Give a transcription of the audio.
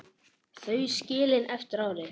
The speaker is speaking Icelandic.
Þau skilin eftir árið.